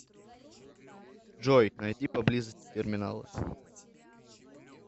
джой найди поблизости терминалы